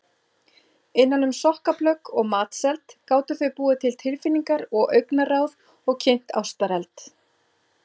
Innan um sokkaplögg og matseld gátu þau búið til tilfinningar og augnaráð og kynt ástareld.